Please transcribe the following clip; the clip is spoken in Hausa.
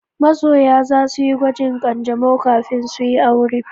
Masoya za su yi gwajin ƙanjamau kafin su yi aure.